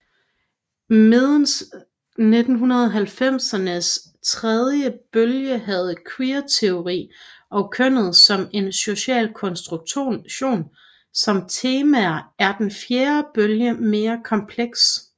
Medens 1990ernes tredje bølge havde queerteori og kønnet som en social konstruktion som temaer er den fjerde bølge mere kompleks